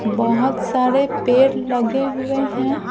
बहुत सारे पेड़ लगे हुए हैं।